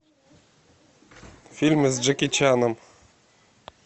фильмы с джеки чаном